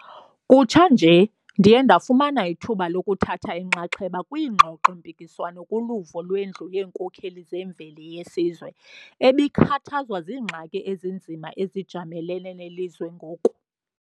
Kutsha nje, ndiye ndafumana ithuba lokuthatha inxaxheba kwingxoxo-mpikiswano kuvulo lweNdlu yeeNkokheli zeMveli yeSizwe, ebikhathazwa ziingxaki ezinzima ezijamelene nelizwe ngoku.